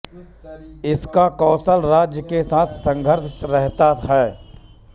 इसका कोशल राज्य के साथ संघर्ष रहता था